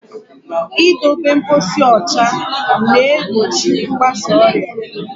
I dobe mposi ụcha na-egbochi mgbasa ọrịa.